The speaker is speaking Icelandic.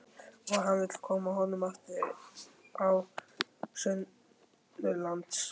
Og hann vill koma honum aftur á sunnanlands.